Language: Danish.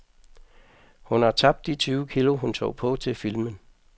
Hun har tabt de tyve kg, hun tog på til filmen.